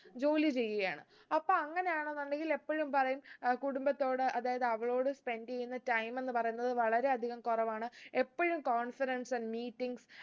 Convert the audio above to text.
ജോലി ചെയ്യുകയാണ് അപ്പൊ അങ്ങനെയാണെന്നുണ്ടെങ്കിൽ എപ്പോഴും പറയും ഏർ കുടുംബത്തോട് അതായത് അവളോട് spend എയ്യുന്ന time എന്ന് പറയുന്നത് വളരെ അധികം കുറവാണ് എപ്പോഴും conference meetings